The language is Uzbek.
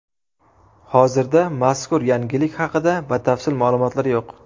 Hozirda mazkur yangilik haqida batafsil ma’lumotlar yo‘q.